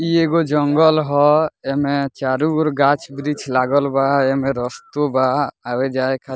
इ एगो जंगल हेय एमे चारो ओर गाछ वृक्ष लागल बा एमे रस्तो बा आवे जाए खा --